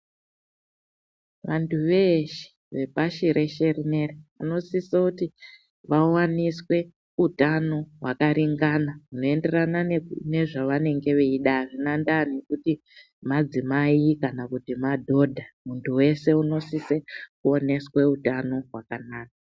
Vantu veeshe vepashi reshe rineri vanosiso kuti vawaniswe utano hwakaringana hwunoenderana nezvavanenge veida azvina ndaa nekuti madzimai kana kuti madhodha muntu wese unosise kuoneswe utano hwakanaka.